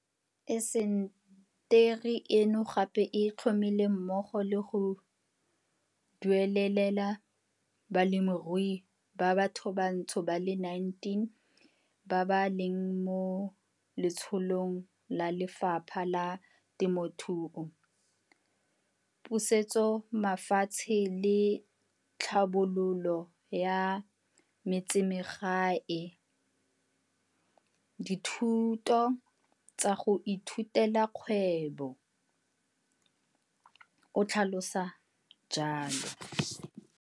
"Intaseteri eno gape e tlhomile mmogo le go duelelela balemirui ba bathobantsho ba le 19 ba ba leng mo letsholong la Lefapha la Temothuo, Pusetsomafatshe le Tlhabololo ya Metsemagae dithuto tsa go ithutela kgwebo," o tlhalosa jalo.